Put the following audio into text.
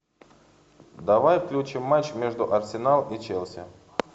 давай включим матч между арсенал и челси